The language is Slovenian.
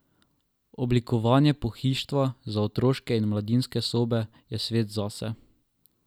Oblikovanje pohištva za otroške in mladinske sobe je svet zase.